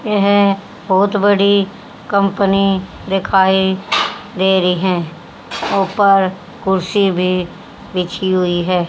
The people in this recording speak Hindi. यह बहुत बड़ी कंपनी दिखाई दे रही है। ऊपर कुर्सी भी बिछी हुई है।